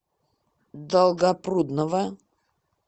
долгопрудного